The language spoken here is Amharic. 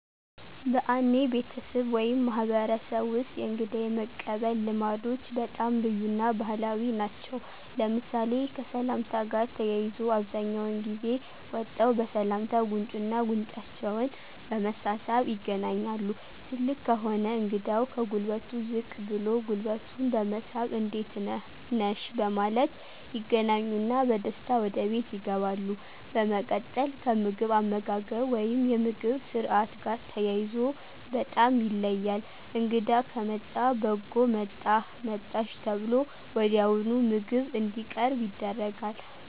በአኔ ቤተስብ ወይም ማህበረሰብ ወስጥ የእንግዳ የመቀበል ልማዶች በጣም ልዩ እና ባህላዊ ናቸው ለምሳሌ፦ ከሰላምታ ጋር ተያይዞ አብዛኛውን ጊዜ ወጠው በሰላምታ ጉንጩና ጉንጫቸውን በመሳሳም ይገናኛሉ ትልቅ ከሆነ እንግዳው ከጉልበቱ ዝቅ ብሎ ጉልበቱን በመሳም እንዴት ነህ/ነሽ በማለት ይገናኙና በደስታ ወደ ቤት ይገባሉ። በመቀጥል ከምግብ አመጋገብ ወይም የምግብ ስርአት ጋር ተያይዞ በጣም ይለያል እንግዳ ከመጣ በጎ መጣህ/መጣሽ ተብሎ ወዲያውኑ ምግብ እንዲቀርብ ይደረጋል